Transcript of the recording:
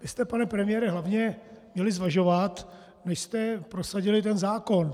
Vy jste, pane premiére, hlavně měli zvažovat, než jste prosadili ten zákon.